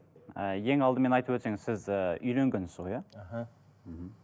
ы ең алдымен айтып өтсеңіз сіз ы үйленгенсіз ғой иә іхі мхм